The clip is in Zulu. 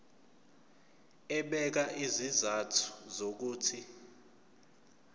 ebeka izizathu zokuthi